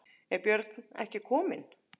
Er Björn ekki kominn?